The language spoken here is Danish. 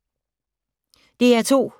DR2